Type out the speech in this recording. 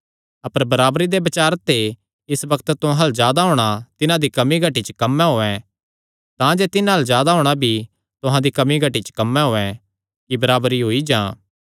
अपर बराबरी दे बचार ते इस बग्त तुहां अल्ल जादा होणा तिन्हां दी कमी घटी च कम्म औयें तांजे तिन्हां अल्ल जादा होणा भी तुहां दी कमी घटी च कम्म औयें कि बराबरी होई जां